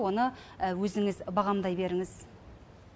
оны өзіңіз бағамдай беріңіз